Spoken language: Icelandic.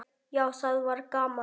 Já, það var gaman.